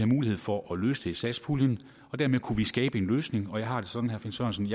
mulighed for at løse det i satspuljen og dermed kunne vi skabe en løsning og jeg har det sådan herre finn sørensen